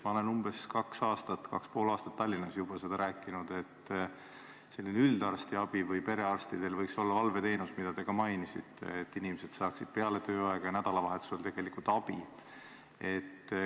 Ma olen umbes kaks ja pool aastat Tallinnas juba seda rääkinud, et üldarstiabil või perearstidel võiks olla selline valveteenus, mida te ka mainisite, et inimesed saaksid ka peale tööaega ja nädalavahetusel abi.